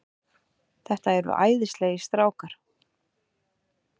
Þetta eru æðislegir strákar.